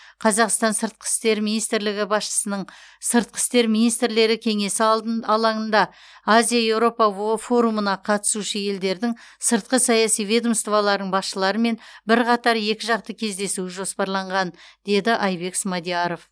қазақстан сыртқы істер министрлігі басшысының сыртқы істер министрлері кеңесі алдын алаңында азия еуропа во форумына қатысушы елдердің сыртқы саяси ведомстволарының басшыларымен бірқатар екіжақты кездесуі жоспарланған деді айбек смадияров